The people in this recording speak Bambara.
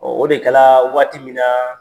o de kɛ la waati min na